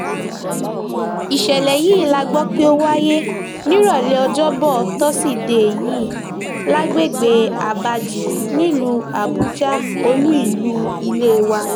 ìṣẹ̀lẹ̀ yìí la gbọ́ pé ó wáyé nírọ̀lẹ́ ọjọ́bọ̀ tọ́sídẹ̀ẹ́ yìí lágbègbè abaji nílùú àbújá olú ìlú ilé wa